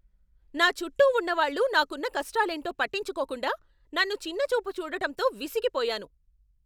నా చుట్టూ ఉన్నవాళ్ళు నాకున్న కష్టాలేంటో పట్టించుకోకుండా, నన్ను చిన్నచూపు చూడటంతో విసిగిపోయాను.